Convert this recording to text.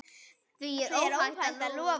Því er óhætt að lofa.